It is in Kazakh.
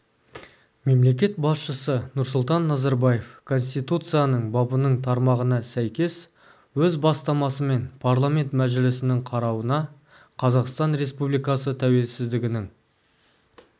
мемлекет басшысы нұрсұлтан назарбаев конституцияның бабының тармағына сәйкес өз бастамасымен парламент мәжілісінің қарауына қазақстан республикасы тәуелсіздігінің